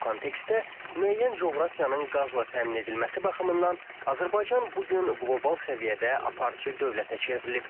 Bu kontekstdə müəyyən coğrafiyanın qazla təmin edilməsi baxımından Azərbaycan bu gün qlobal səviyyədə aparıcı dövlətə çevrilib.